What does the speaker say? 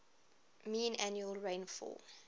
mean annual rainfall